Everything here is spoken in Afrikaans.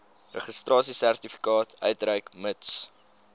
registrasiesertifikaat uitreik mits